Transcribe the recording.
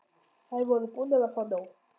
Þær voru búnar að fá nóg.